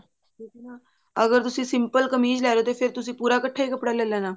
ਕਿਉਂਕਿ ਨਾ ਅਗਰ ਤੁਸੀਂ simple ਕਮੀਜ਼ ਲੈਰਹੇ ਓ ਤੇ ਫ਼ੇਰ ਤੁਸੀਂ ਪੂਰਾ ਇੱਕਠਾ ਹੀ ਕੱਪੜਾ ਲੈ ਲੈਣਾ